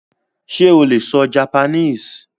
Sé o lè sọ Japanese?